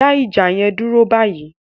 Dá ìjà yẹn dúró báyìí!